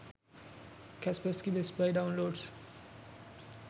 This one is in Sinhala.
kaspersky best buy downloads